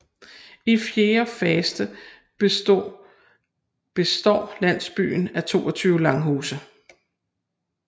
I fjerde faste består landsbyen af 22 langhuse